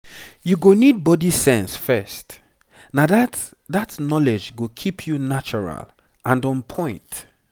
you go need body sense first na that that knowledge go keep you natural and on point